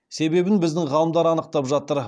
себебін біздің ғалымдар анықтап жатыр